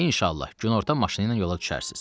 İnşallah, günorta maşınla yola düşərsiz.